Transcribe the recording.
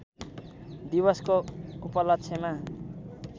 दिवसको उपलक्ष्यमा